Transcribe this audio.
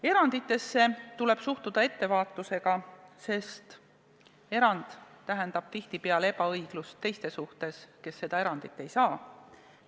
Eranditesse tuleb suhtuda ettevaatusega, sest erand tähendab tihtipeale ebaõiglust teiste suhtes, kes seda erandit ei saa.